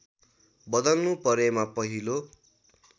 बदल्नु परेमा पहिलो